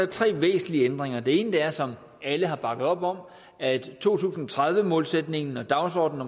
tre væsentlige ændringer den ene er som alle har bakket op om at to tusind og tredive målsætningen og dagsordenen